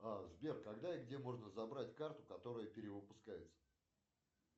сбер когда и где можно забрать карту которая перевыпускается